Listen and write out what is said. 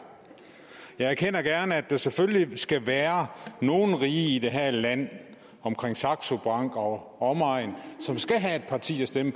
jeg erkender gerne at der selvfølgelig skal være nogen rige i det her land omkring saxo bank og omegn som skal have et parti at stemme